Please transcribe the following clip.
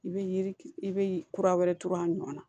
I bɛ yiri i bɛ kura wɛrɛ turu a nɔ na